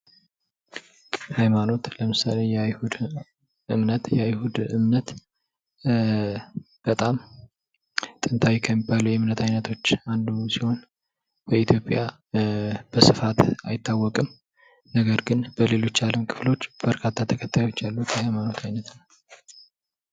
ሃይማኖት ለምሳሌ የአይሁድ እምነት የአይሁድ እምነት በጣም ጥንታዊ ከሚባሉት የእምነት አይነቶች አንዱ ሲሆን፤ በኢትዮጵያ በስፋት አይታወቅም። ነገር ግን በሌሎች የዓለም ክፍሎች በርካታ ተከታዮች ያሉት ሃይማኖት ዓይነት ነው።